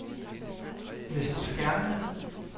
Vester Skerning